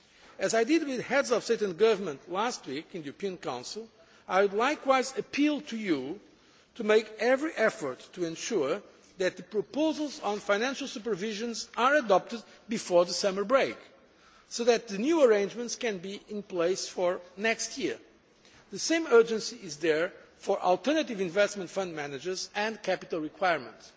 As I did with Heads of State and Governments last week in the European Council, I would likewise appeal to you to make every effort to ensure that the proposals on financial supervision are adopted before the summer break so that the new arrangements can be in place for next year. The same urgency is there for alternative investment fund managers and capital requirements.